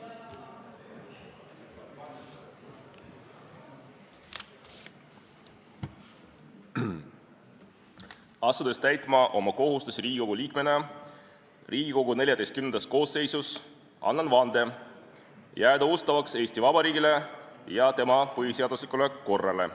Asudes täitma oma kohustusi Riigikogu liikmena Riigikogu XIV koosseisus, annan vande jääda ustavaks Eesti Vabariigile ja tema põhiseaduslikule korrale.